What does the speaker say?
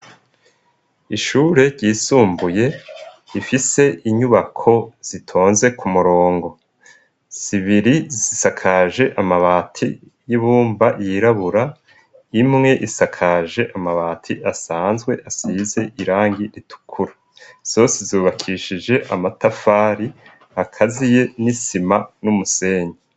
Ishure ryisumbuye rifise inyubako zitonze ku murongo zibiri zisakaje amabati y'ibumba yirabura, imwe isakaje amabati asanzwe asize irangi ritukura. Zose zubakishije amatafari akaziye n'isima n'umusenyi.